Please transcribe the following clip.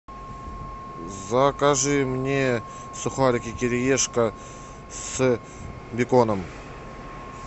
закажи мне сухарики кириешка с беконом